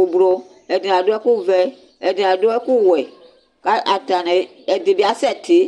ublɔ ɛdini ado ɛku vɛ ɛdini ado wɛ k'atani ɛdini bi asɛ ti